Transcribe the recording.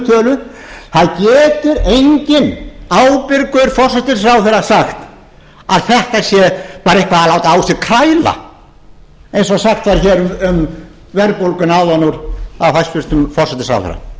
tölu það getur enginn ábyrgur forsætisráðherra sagt að þetta sé bara dálítil kræla eins og sagt var hér um verðbólguna áðan af hæstvirtum forsætisráðherra